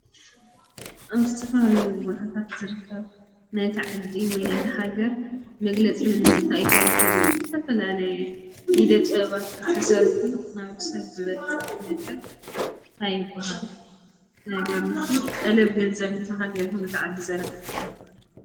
ኣብ ዝተፈላለዩ ቦታታት ዝርከብ ናይታ ዓዲ ወይ ናይታ ሃገር መግለጺ መንነታ እዩ ተባሂሉ ብዝተፈላለዩ እደ ጥበባት ዝተሰርሑ ናብ ሰብ ዝበፅሕ ነገር እንታይ ይበሃሉ ነገር ንሱ ጠለብ ገንዘብ ነታ ሃገር ይኩን ነታ ዓዲ ዘርክብ ማለት እዩ።